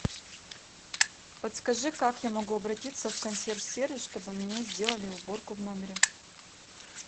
подскажи как я могу обратиться в консьерж сервис чтобы мне сделали уборку в номере